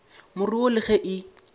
more wo le ge e